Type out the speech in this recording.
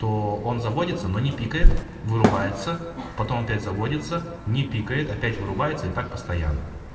то он заводится но не пикает вырубается потом опять заводится не пикает опять вырубается и так постоянно